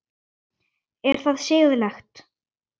Er það siðlegt?